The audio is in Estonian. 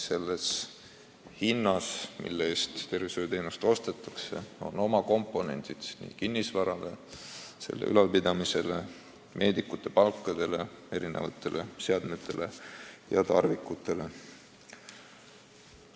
See hind hõlmab ka kulusid kinnisvarale, meedikute palkadele ning seadmetele ja tarvikutele.